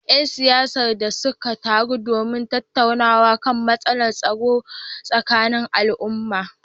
‘Yan siyasar da suka taru domin tattaunawa kan matsalar tsaro a tsakanin al’umma